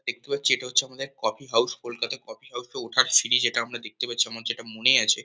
দেখতে পাচ্ছি এটা হচ্ছে আমাদের coffee house . Kolkata coffee house -এ ওঠার সিঁড়ি যেটা আমরা দেখতে পাচ্ছি। আমার যেটা মনে আছে।